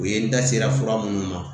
U ye n da sera fura minnu ma